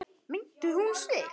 Meiddi hún sig?